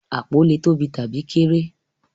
Apó lè tóbi tabi kéré.